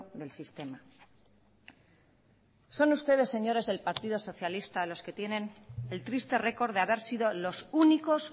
del sistema son ustedes señores del partido socialista los que tienen el triste récord de haber sido los únicos